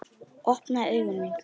Opnuðu augu mín.